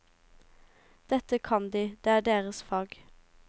Dette kan de, det er deres fag.